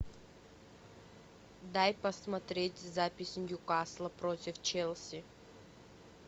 дай посмотреть запись ньюкасла против челси